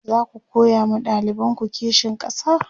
zaku koya ma ɗalibanku kishin ƙasa?